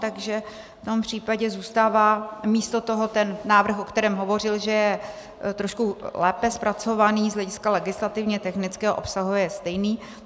Takže v tom případě zůstává místo toho ten návrh, o kterém hovořil, že je trošku lépe zpracovaný, z hlediska legislativně technického obsahu je stejný.